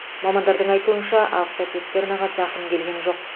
мамандардың айтуынша автоцистернаға зақым келген жоқ